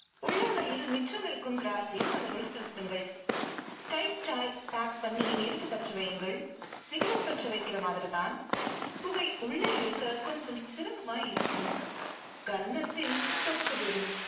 உள்ளங்கையில் மிச்சமிருக்கும் gross ஐயும் அதனுள் செலுத்துங்கள். tight ஆய் pack பண்ணி நெருப்பு பற்ற வையுங்கள். cigarette பற்ற வைக்கிற மாதிரி தான் புகை உள்ளே இழுக்க கொஞ்சம் சிரமமாய் இருக்கும். கன்னத்தில் டொக்கு விழும்.